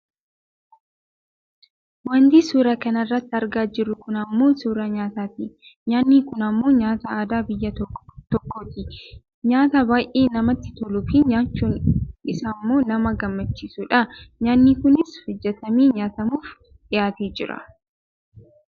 Wanti suuraa kanarratti argaa jirru kun ammoo suuraa nyaataati. Nyaanni kun ammoo nyaata aadaa biyya tokkooti. Nyaata baayyee namatti toluufi nyaachuun isaammoo nama gammachiisudha. Nyaanni kunis hojjatamee nyaatamuuf dhiyaatee jira.